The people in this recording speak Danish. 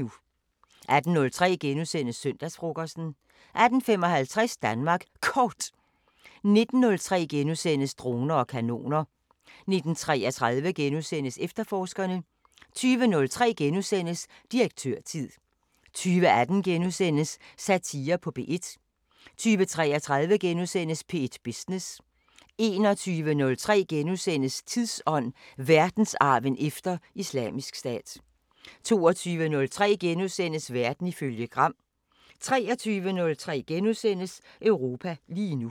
18:03: Søndagsfrokosten * 18:55: Danmark Kort 19:03: Droner og kanoner * 19:33: Efterforskerne * 20:03: Direktørtid * 20:18: Satire på P1 * 20:33: P1 Business * 21:03: Tidsånd: Verdensarven efter Islamisk Stat * 22:03: Verden ifølge Gram * 23:03: Europa lige nu *